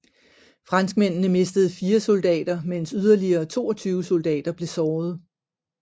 Franskmændene mistede 4 soldater mens yderligere 22 soldater blev sårede